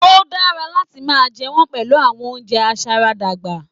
O dára láti máa jẹ wọn pẹlu awọn ounjẹ aṣaradàgbà.